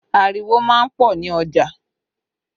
Ariwo má ń pọ̀ ní ọjà